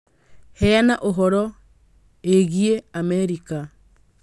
Heana ũhoro ĩgiĩ Amerika.